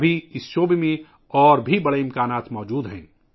اس میدان میں اب بھی بہت زیادہ امکانات موجود ہیں